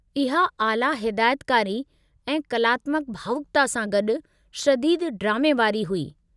इहा आला हिदायतकारी ऐं कलात्मकु भावुकता सां गॾु शदीदु ड्रामे वारी हुई।